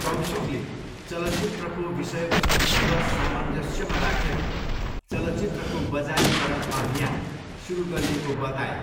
कौशिकले चलचित्रको विषयवस्तुसँग सामञ्जस्यमा राखेर चलचित्रको बजारीकरण अभियान सुरु गरिएको बताए।